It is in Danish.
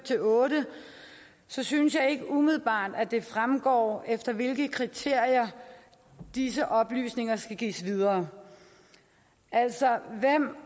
otte synes jeg ikke umiddelbart det fremgår efter hvilke kriterier disse oplysninger skal gives videre altså hvem